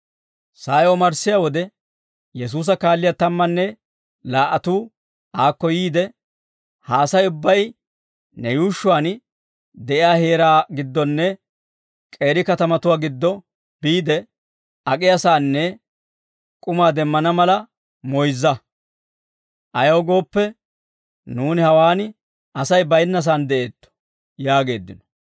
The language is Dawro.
Sa'ay omarssiyaa wode, Yesuusa kaalliyaa tammanne laa"atuu aakko yiide, «Ha Asay ubbay nu yuushshuwaan de'iyaa heeraa giddonne k'eeri katamatuwaa giddo biide, ak'iyaasaanne k'umaa demmana mala moyzza; ayaw gooppe nuuni hawaan Asay baynnasaan de'eetto» yaageeddino.